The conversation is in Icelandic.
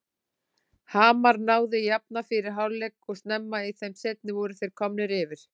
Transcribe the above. Hamar náði að jafna fyrir hálfleik og snemma í þeim seinni voru þeir komnir yfir.